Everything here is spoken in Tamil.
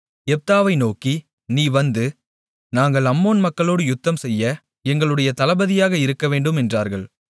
யெப்தாவை நோக்கி நீ வந்து நாங்கள் அம்மோன் மக்களோடு யுத்தம்செய்ய எங்களுடைய தளபதியாக இருக்கவேண்டும் என்றார்கள்